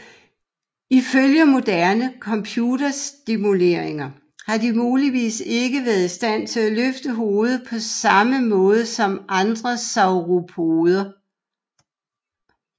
Ifølge moderne computersimuleringer har de muligvis ikke været i stand til at løfte hovedet på samme måde som andre sauropoder